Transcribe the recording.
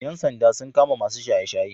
Ƴan sanda sun kama masu shaye-shaye.